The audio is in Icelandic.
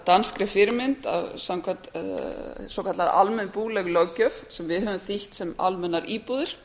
danskri fyrirmynd svokölluðum almennum búleigulöggjöf sem við höfum þýtt sem almennar íbúðir